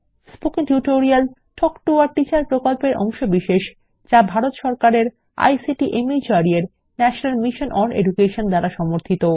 spoken tutorial talk to a teacher প্রকল্পের অংশবিশেষ যা ভারত সরকারের আইসিটি মাহর্দ এর ন্যাশনাল মিশন ওন এডুকেশন দ্বারা সমর্থিত